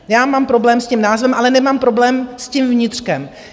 Já mám problém s tím názvem, ale nemám problém s tím vnitřkem.